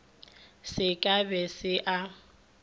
se ka be se a